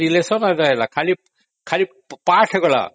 ଆଉ relation କିଛି ରହିଲାନି ଖାଲି pass ହେଇଗଲା